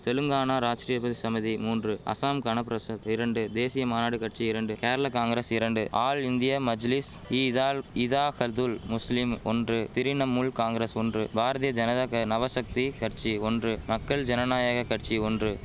தெலுங்கானா ராஷ்டிரிய பதி சமிதி மூன்று அசாம் கணபிரஷத் இரண்டு தேசிய மாநாட்டு கட்சி இரண்டு கேரளா காங்கிரஸ் இரண்டு ஆல் இந்தியா மஜ்லிஸ் ஈதால் இதாஹல்துல் முஸ்லிம் ஒன்று திரிணமுல் காங்கிரஸ் ஒன்று பாரதிய ஜனதாக நவசக்தி கட்சி ஒன்று மக்கள் ஜனநாயக கட்சி ஒன்று